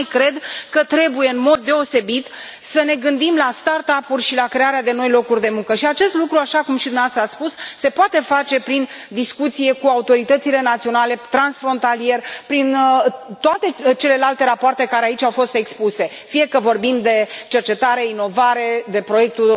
Și mai cred că trebuie, în mod deosebit, să ne gândim la start up uri și la crearea de noi locuri de muncă și acest lucru, așa cum și dumneavoastră ați spus, se poate face prin discuție cu autoritățile naționale, transfrontalier, prin toate celelalte rapoarte care aici au fost expuse, fie că vorbim de cercetare inovare, de proiectul